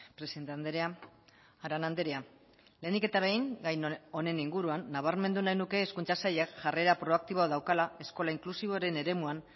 presidente andrea arana andrea lehenik eta behin gai honen inguruan nabarmendu nahi nuke hezkuntza sailak jarrera proaktiboa daukala eskola inklusiboaren eremuan